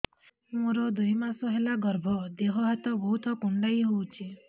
ମୋର ଦୁଇ ମାସ ହେଲା ଗର୍ଭ ଦେହ ହାତ ବହୁତ କୁଣ୍ଡାଇ ହଉଚି